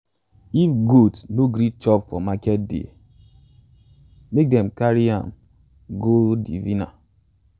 if goat no gree chop for market day make them um carry um am go um diviner.